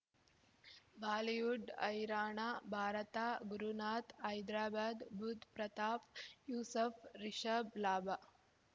Bollywood ಹೈರಾಣ ಭಾರತ ಗುರುನಾಥ್ ಹೈದ್ರಾಬಾದ್ ಬುಧ್ ಪ್ರತಾಪ್ ಯೂಸಫ್ ರಿಷಬ್ ಲಾಭ